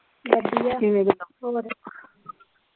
ਵਧੀਆ ਕਿਵੇਂ ਜਨਾਬ ਹੋਰ।